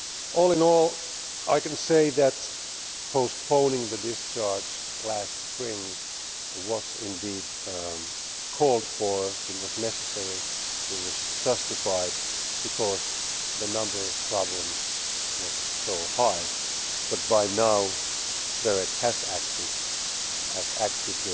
All in all I can say that postponing the discharge last spring was indeed called for, it was necessary, it was justified, because the number of problems was so high, but BEREC has now acted and has acted